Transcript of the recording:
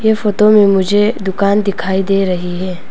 ये फोटो में मुझे दुकान दिखाई दे रही है।